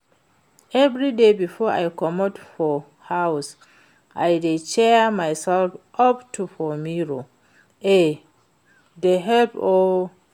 Everyday before I comot for house I dey cheer myself up for mirror, e dey help oo